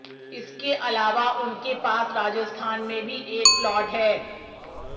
इसके अलावा उनके पास राजस्थान में भी एक प्लॉट है